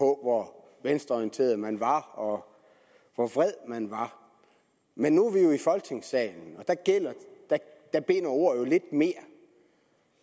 hvor venstreorienteret man var og hvor vred man var men nu er vi i folketingssalen og der binder ord jo lidt mere